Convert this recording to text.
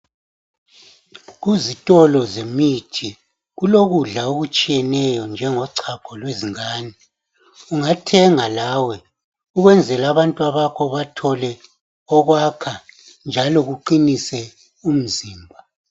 Kuzitolo zemithi kulokudla okutshiyeneyo njengochago lwezingane ungathenga lawe ukwenzela abantwana bakho bathole okwakha njalo kuqinise umzimba.